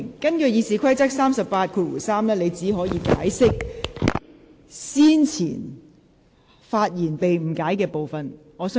根據《議事規則》第383條，你只可以發言解釋先前發言中被誤解的部分。